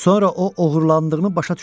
Sonra o oğurlandığını başa düşdü.